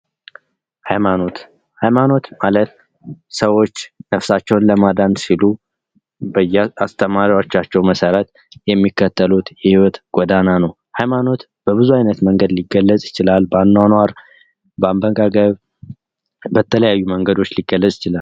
ሃይማኖት ሃይማኖት ማለት ሰዎች ነፍሳቸውን ለማዳን ሲሉ በየአስተማሪዎቻቸው መሠረት የሚከተሉት የህይወት ጎዳና ነው። ሃይማኖት በብዙ አይነት መንገድ ሊገለፅ ይችላል። በአኗኗር፣ በአመጋገብ፣ በተለያዩ መንገዶች ሊገለጽ ይችላል።